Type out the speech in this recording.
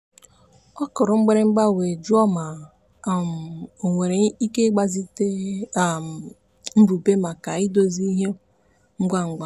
ọ kụrụ mgbịrịgba were jụọ ma um o nwere ike ịgbazite um mbụbe maka idozi ìhè ngwangwa.